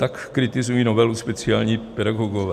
Tak kritizují novelu speciální pedagogové.